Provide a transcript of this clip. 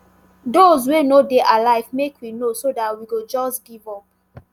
those wey no dey alive make we know so dat we go just give up